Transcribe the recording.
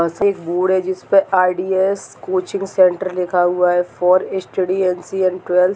बस एक बोर्ड है जिसपे आर.डी.एस. कोचिंग सेंटर लिखा हुआ है for study NC. And twelve.